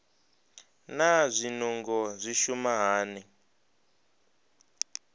naa zwinungo zwi shuma hani